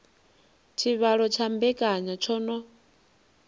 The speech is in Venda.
tshivhalo tsha mbekanya tsho no